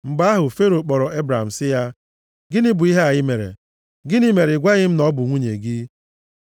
Mgbe ahụ, Fero kpọrọ Ebram sị ya, “Gịnị bụ ihe a i mere? Gịnị mere ị gwaghị m na ọ bụ nwunye gị?